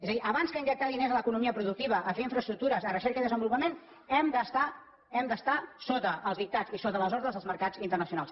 és a dir abans que injectar diners a l’economia productiva a fer infraestructures a recerca i desenvolupament hem d’estar sota els dictats i sota les ordres dels mercats internacionals